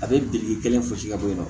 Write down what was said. A bɛ biriki kelen fosi ka bɔ yen nɔ